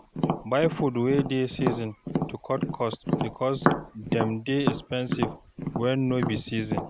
Buy food wey dey season to cut cost because dem dey expensive when no be season